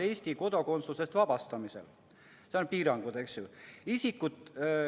Seal on piirangud, eks ju.